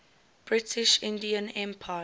british indian empire